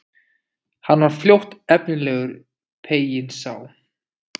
Hann var fljótt efnilegur, peyinn sá.